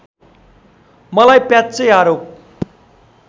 मलाई प्याच्चै आरोप